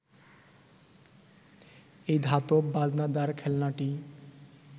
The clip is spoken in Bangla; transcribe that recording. এই ধাতব বাজনাদার খেলনাটি